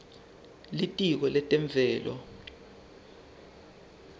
litiko letemvelo